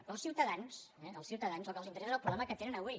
però als ciutadans eh als ciutadans el que els interessa és el problema que te·nen avui